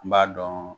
N b'a dɔn